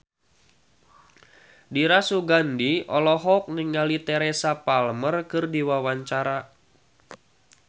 Dira Sugandi olohok ningali Teresa Palmer keur diwawancara